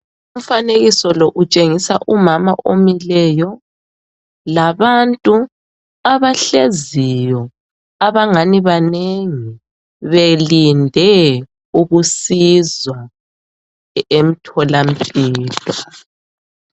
Umfanekiso lo utshengisa umama omileyo labantu abahleziyo abangani banengi belinde ukusizwa emtholampilo.